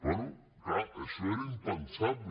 bé clar això era impensable